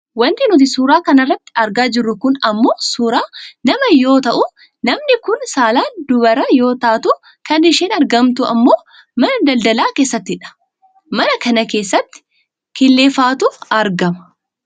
Wanti nuti suuraa kana irratti argaa jirru kun ammoo suuraa namaa yoo ta'u namni kun saalaan dubaraa yoo taatu kan isheen argamtu ammoo mana daldala keessattidha. Mana kana keessatti killeefaatu argama.